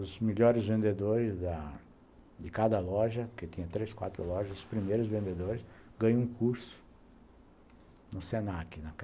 Os melhores vendedores da de cada loja, porque tinha três, quatro lojas, os primeiros vendedores, ganham um curso no Senac, naquela